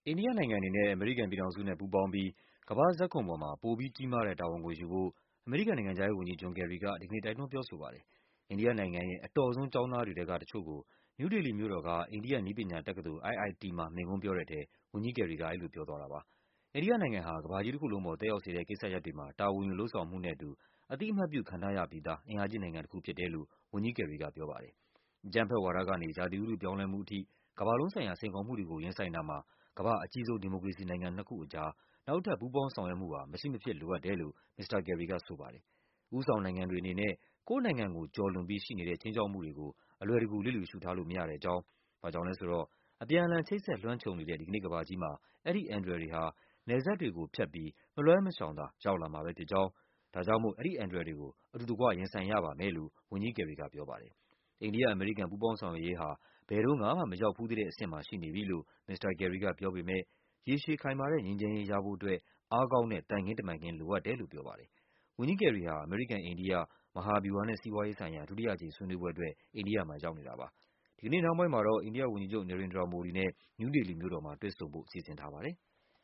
ိန္ဒိယနိုင်ငံအနေနဲ့ အမေရိကန်ပြည်ထောင်စုနဲ့ ပူးပေါင်းပြီး ကမ္ဘာ့ဇာတ်ခုံမှာ ပိုပြီးကြီးမားတဲ့ တာဝန်ကိုယူဖို့ အမေရိကန်နိုင်ငံခြား ရေးဝန်ကြီး ဂျွန် ကယ်ရီက ဒီကနေ့ တိုက်တွန်း ပြောဆိုပါတယ်။ အိန္ဒိယနိုင်ငံရဲ့ အတော်ဆုံးကျောင်းသားတွေထဲက တချို့ကို နယူးဒေလီမြို့တော်က အိန္ဒိယ နည်းပညာတက္ကသိုလ် IIT မှာ မိန့်ခွန်းပြောတဲ့ထဲ ဝန်ကြီးကယ်ရီက အဲဒီလိုပြောသွားတာပါ။ အိန္ဒိယနိုင်ငံဟာ ကမ္ဘာကြီးတခုလုံးပေါ် သက်ရောက်စေတဲ့ ကိစ္စရပ်တွေမှာ တာဝန်ယူ လုပ်ဆောင်မှုနဲ့အတူ အသိအမှတ်ပြုခံထား ရပြီးသား အင်အားကြီးနိုင်ငံတခုဖြစ်တယ်လို့ ဝန်ကြီးကယ်ရီက ပြောပါတယ်။ အကြမ်းဖက်ဝါဒကနေ ရာသီဥတု ပြောင်းလဲမှုအထိ ကမ္ဘာလုံးဆိုင်ရာစိန်ခေါ်မှုတွေကို ရင်ဆိုင်တာမှာ ကမ္ဘာ့အကြီးဆုံး ဒီမိုကရေစီနိုင်ငံနှစ်ခုအကြား နောက်ထပ် ပူးပေါင်းဆောင်ရွက်မှု ဟာ မရှိမဖြစ်လိုအပ်တယ်လို့ မစ္စတာကယ်ရီကဆိုပါတယ်။ ဦးဆောင်နိုင်ငံတွေအနေနဲ့ ကိုယ့်နိုင်ငံကိုကျော်လွန်ပြီး ရှိနေတဲ့ ခြိမ်း ခြောက်မှုတွေကို အလွယ်တကူ လျစ်လျူရှုထားလို့ မရတဲ့ အကြောင်း၊ ဘာကြောင့်လည်းဆိုတော့ အပြန်အလှန် ချိတ်ဆက် လွှမ်းခြုံနေတဲ့ ဒီကနေ့ကမ္ဘာကြီးမှာ အဲဒီအန္တရာယ်တွေဟာ နယ်စပ်တွေကိုဖြတ်ပြီး မလွှဲမရှောင်သာ ရောက်လာမှာပဲဖြစ်ကြောင်း၊ ဒါကြောင့်မို့ အဲဒီအန္တရာယ်တွေကို အတူတကွ ရင်ဆိုင်ရပါ မယ်လို့ ဝန်ကြီးကယ်ရီက ပြောပါတယ်။ အိန္ဒိယ-အမေရိကန် ပူးပေါင်းဆောင်ရွက်ရးဟာ ဘယ်တုန်းကမှ မရောက်ဖူးသေးတဲ့အဆင့်မှာ ရှိနေပြီလို့ မစ္စတာကယ်ရီက ပြော ပေမဲ့ ရေရှည်ခိုင်မာတဲ့ငြိမ်းချမ်းရေး ရဖို့အတွက် အားကောင်းတဲ့ သံခင်းတမန်ခင်း လိုအပ်တယ်လို့ ပြောပါတယ်။ ဝန်ကြီးကယ်ရီ ဟာ အမေရိကန်-အိန္ဒိယ မဟာဗျူဟာနဲ့ စီးပွားရေးဆိုင်ရာ ဒုတိယအကြိမ်ဆွေးနွေးပွဲအတွက် အိန္ဒိယမှာရောက်နေတာပါ။ ဒီကနေ့ နှောင်းပိုင်းမှာတော့ အိန္ဒိယဝန်ကြီးချုပ် နေရိန်ဒရာ မိုဒီနဲ့ နယူးဒေလီမြို့တော်မှာ တွေ့ဆုံဖို့ စီစဉ်ထားပါတယ်။